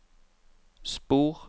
spor